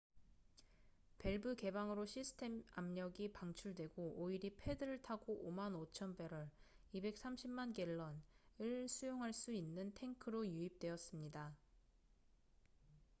밸브 개방으로 시스템 압력이 방출되고 오일이 패드를 타고 55,000배럴230만 갤런을 수용할 수 있는 탱크로 유입되었습니다